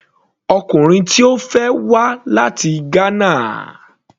Ọkùnrin tí Ó fẹ́ wá láti Ghana.